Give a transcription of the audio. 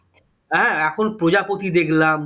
হ্যাঁ এখন প্রজাপতি দেখলাম